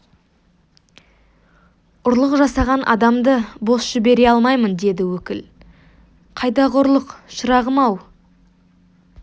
ұрлық жасаған адамды бос жібере алмаймын деді өкіл қайдағы ұрлық шырағым-ау